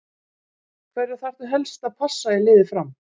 Hverja þarftu helst að passa í liði Fram?